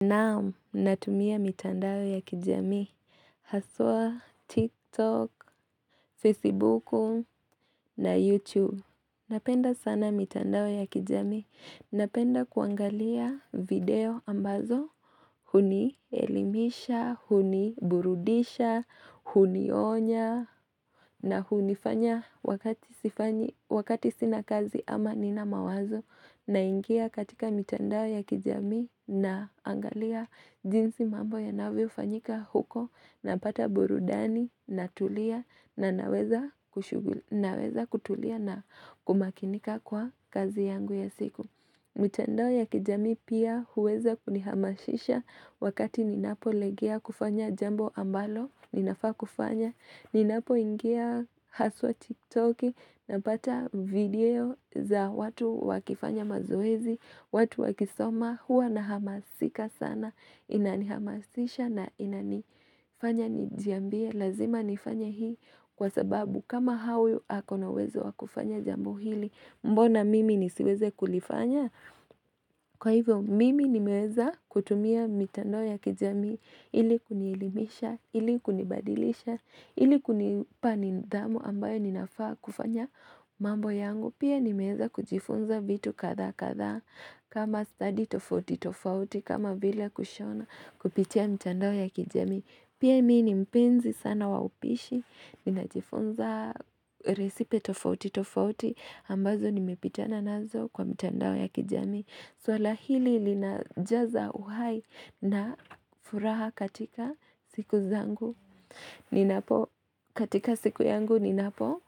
Naam natumia mitandao ya kijami Haswa, TikTok, Facebook na YouTube Napenda sana mitandao ya kijami Napenda kuangalia video ambazo Huni elimisha, huni burudisha, huni onya na hunifanya wakati sina kazi ama nina mawazo na ingia katika mitandao ya kijami na angalia jinsi mambo ya navio fanyika huko na pata burudani na tulia naweza naweza kutulia na kumakinika kwa kazi yangu ya siku. Mtendo ya kijami pia huweza kunihamashisha wakati ninapo legea kufanya jambo ambalo, ninafaa kufanya, ninapo ingia haswa tiktoki na pata video za watu wakifanya mazoezi, watu wakisoma huwa na hamasika sana, inanihamashisha na inanifanya nijambie, lazima nifanya hii kwa sababu kama hawi akona wezo wakufanya jambo hili Mbona mimi nisiweze kulifanya Kwa hivyo mimi nimeweza kutumia mitandao ya kijami Ili kuniilimisha, ili kunibadilisha Ili kunipanindamu ambayo ninafaa kufanya mambo yangu Pia nimeweza kujifunza vitu katha katha kama study tofauti tofauti kama vila kushona kupitia mitandoo ya kijami Pia mimi nimpinzi sana waupishi Ninajifunza resipe tofauti tofauti ambazo nimepitana nazo kwa mitandao ya kijami swala hili linajaza uhai na furaha katika siku zangu katika siku yangu ninapo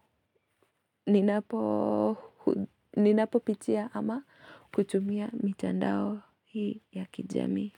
ninapo pitiya ama kuchumia mitandao ya kijami.